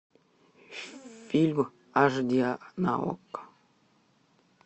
фильм аш ди на окко